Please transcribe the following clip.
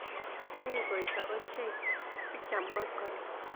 Anyiny koito ochei, sikeam koskoling.